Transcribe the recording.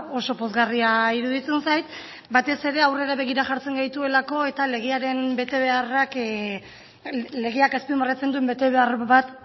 oso pozgarria iruditzen zait batez ere aurrera begira jartzen gaituelako eta legaren betebeharrak legeak azpimarratzen duen betebehar bat